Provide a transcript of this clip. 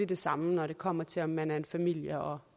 det samme når det kommer til om man er en familie og